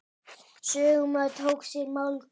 Sögumaður tók sér málhvíld.